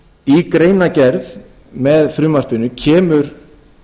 í greinargerð með frumvarpinu kemur